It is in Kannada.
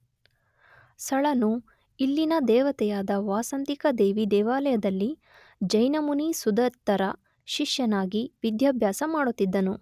ಸಳನು ಇಲ್ಲಿನ ದೇವತೆಯಾದ ವಾಸಂತಿಕ ದೇವಿ ದೇವಾಲಯದಲ್ಲಿ ಜೈನ ಮುನಿ ಸುದತ್ತರ ಶಿಷ್ಯನಾಗಿ ವಿದ್ಯಾಭ್ಯಾಸ ಮಾಡುತಿದ್ದನು.